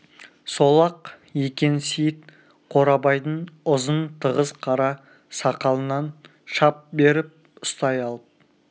сол-ақ екен сейіт қорабайдың ұзын тығыз қара сақалынан шап беріп ұстай алып